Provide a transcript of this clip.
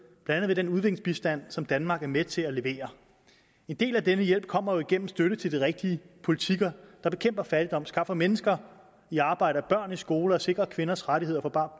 blandt andet med den udviklingsbistand som danmark er med til at levere en del af den hjælp kommer igennem støtte til de rigtige politikker der bekæmper fattigdom skaffer mennesker i arbejde og børn i skole og sikrer kvinders rettigheder for bare